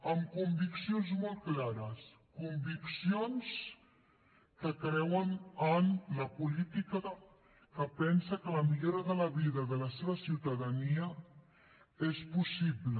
amb conviccions molt clares conviccions que creuen en la política que pensa que la millora de la vida de la seva ciutadania és possible